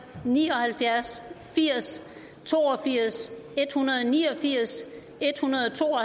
ni og halvfjerds firs to og firs en hundrede og ni og firs en hundrede og to og